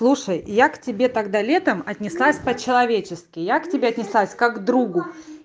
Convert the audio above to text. слушай я к тебе тогда летом отнеслась по-человечески я к тебе отнеслась как другу